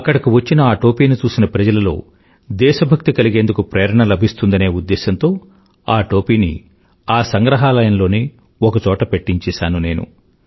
అక్కడకు వచ్చిన ఆ టోపీని చూసిన ప్రజలలో దేశభక్తి కలిగేందుకు ప్రేరణ లభిస్తుందనే ఉద్దేశంతో ఆ టోపీని ఆ సంగ్రహాలయంలోనే ఒక చోట పెట్టించేసాను నేను